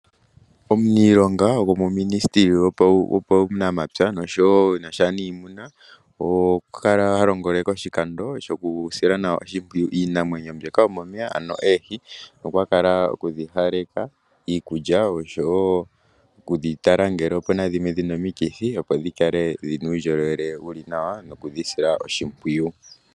Omuniilonga gwomominesteli yuunamapya nuunimuna okwa kala ha longele koshikando shoku sila nwa oshipwiyu iinamwenyo yomomeya ngaashi oohi. Okwa kala no kudhipa iikulya nokutala ngele opena ndhoka dhina omikithi.